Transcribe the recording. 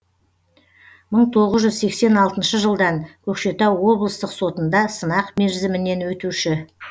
мың тоғыз жүз сексен алтыншы жылдан көкшетау облыстық сотында сынақ мерзімінен өтуші